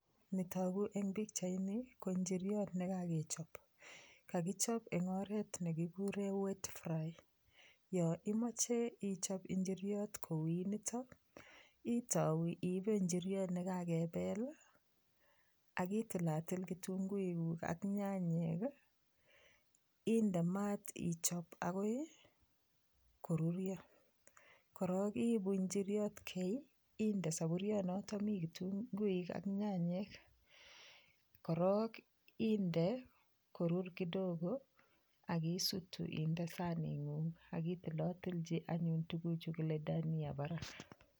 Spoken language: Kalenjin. Nitoku eng' pikchaini ko njiriot nekakechop kakichop eng' oret nekikure wet fry yo imoche ichop njiriot ko uit nito itou iibe njiriot nekakepel akitilatil kitunguik ak nyanyek inde maat ichop akoi korurio korok iibu njiriot kei inde sapurionoto mi kitunguik ak nyanyek korok inde korur kidogo akisutu inde saning'ung' akitilotilji anyun tukuchu kile dania barak